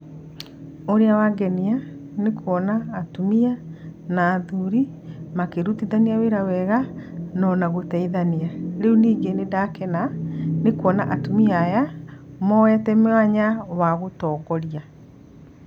Ũrĩa wangenia, nĩ kuona atumia na athuri makĩtutithania wĩra wega nona gũteithania. Rĩu ningĩ nĩ ndakena nĩ kuona atumia aya moete mwanya wa gũtongoria.